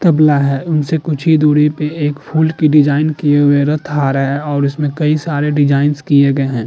तबला है उनसे कुछ ही दूरी पर एक फूल की डिजाइन किए हुए रथ आ रहा है और इसमें कई सारे डिजाइंस किए गए हैं।